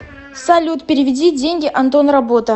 салют переведи деньги антон работа